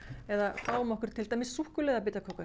eða fáum okkur